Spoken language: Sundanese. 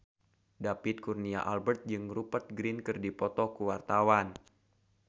David Kurnia Albert jeung Rupert Grin keur dipoto ku wartawan